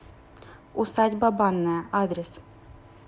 усадьба банная адрес